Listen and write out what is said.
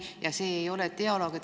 Aga see ei ole dialoog.